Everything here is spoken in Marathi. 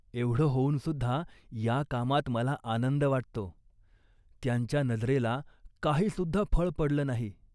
एवढं होऊनसुद्धा या कामात मला आनंद वाटतो. त्यांच्या नजरेला काहीसुद्धा फळ पडलं नाही